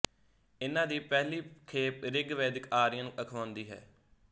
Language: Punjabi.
ਇਨ੍ਹਾਂ ਦੀ ਪਹਿਲੀ ਖੇਪ ਰਿਗਵੈਦਿਕ ਆਰੀਅਨ ਅਖਵਾਉਂਦੀ ਹੈ